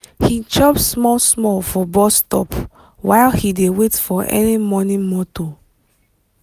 he chop small small for bus stop while he dey wait for early morning motor.